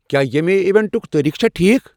کیا ییمِہ ایوینٹُک تٲریخ چھا ٹھیٖک ؟